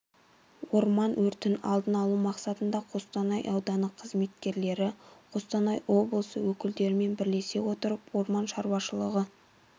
орман өртін алдын алу мақсатында қостанай ауданы қызметкерлері қостанай облысы өкілдерімен бірлесе отырып орман шаруашылығы